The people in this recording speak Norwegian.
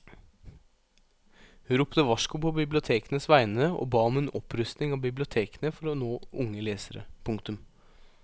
Hun ropte varsko på bibliotekenes vegne og ba om en opprustning av bibliotekene for å nå unge lesere. punktum